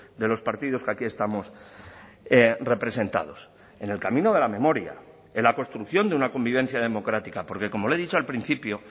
de los partidos que aquí estamos representados en el camino de la memoria en la construcción de una convivencia democrática porque como le he dicho al principio